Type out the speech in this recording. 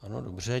Ano, dobře.